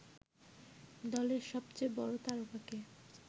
দলের সবচেয়ে বড় তারকাকে